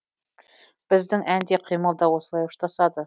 біздің ән де қимыл да осылай ұштасады